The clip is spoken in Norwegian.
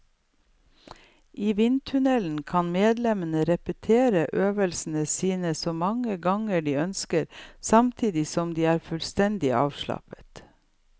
I vindtunnelen kan medlemmene repetere øvelsene sine så mange ganger de ønsker, samtidig som de er fullstendig avslappet.